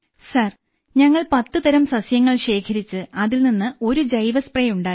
sir ഞങ്ങൾ പത്ത് തരം സസ്യങ്ങൾ ശേഖരിച്ച് അതിൽ നിന്ന് ഒരു ജൈവ സ്പ്രേ ഉണ്ടാക്കി